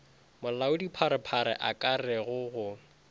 molaodipharephare a ka re go